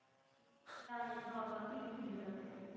आहे normal तेच दिली जाते.